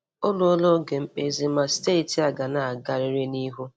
O ruola oge mkpezi ma steeti a ga na-agarịrị n'ihu.